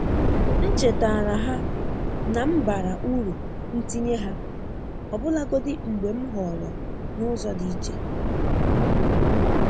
M chetaara ha na m bara uru ntinye ha, ọbụlagodi mgbe m họọrọ n'ụzọ dị iche.